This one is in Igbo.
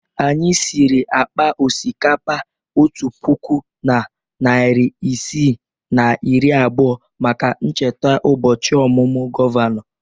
Anyị siri akpa osikapa otu puku na narị isii na iri abụọ maka ncheta ụbọchị ọmụmụ gọvanọ.